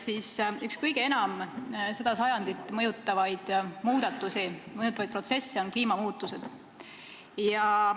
Üks kõige enam seda sajandit mõjutavaid protsesse on kliimamuutused.